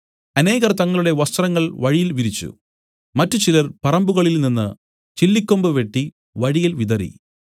അനേകർ തങ്ങളുടെ വസ്ത്രങ്ങൾ വഴിയിൽ വിരിച്ചു മറ്റുചിലർ പറമ്പുകളിൽ നിന്നു ചില്ലിക്കൊമ്പ് വെട്ടി വഴിയിൽ വിതറി